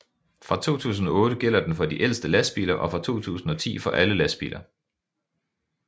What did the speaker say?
Fra 2008 gælder den for de ældste lastbiler og fra 2010 for alle lastbiler